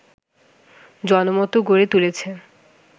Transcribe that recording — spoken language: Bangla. জনমত গড়ে তুলেছেন